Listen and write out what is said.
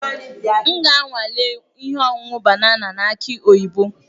M ga-anwale ṅụọ ihe ọṅụṅụ banana aki oyibo.